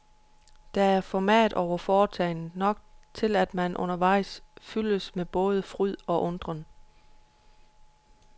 Der er format over foretagendet, nok til at man undervejs fyldes med både fryd og undren.